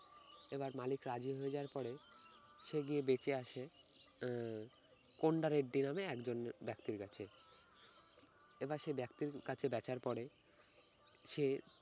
এবার মালিক রাজি হয়ে যাওয়ার পরে সে গিয়ে দেখে আসে আহ কোনডা রেড্ডি নামে একজন ব্যবসায়ীর কাছে। এবার সে ব্যক্তির কাছে বেচার পরে সে